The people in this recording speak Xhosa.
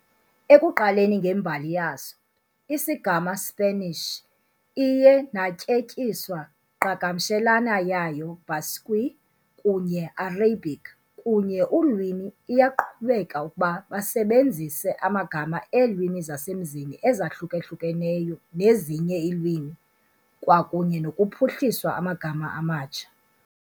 Ekuqaleni ngembali yaso, isigama Spanish iye natyetyiswa qhagamshelana yayo Basque kunye Arabic kunye ulwimi iyaqhubeka ukuba basebenzise amagama eelwimi zasemzini ezahlukahlukeneyo nezinye iilwimi, kwakunye nokuphuhliswa amagama amatsha.